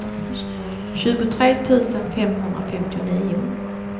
tjugotre tusen femhundrafemtionio